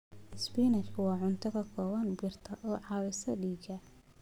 Spinachi waa cunto ka kooban birta oo caawisa dhiigga.